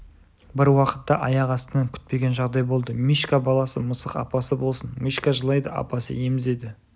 бір уақытта аяқ астынан күтпеген жағдай болды мишка баласы мысық апасы болсын мишка жылайды апасы емізеді